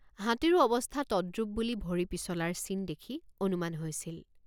হাতীৰো অৱস্থা তদ্ৰূপ বুলি ভৰি পিছলাৰ চিন দেখি অনুমান হৈছিল।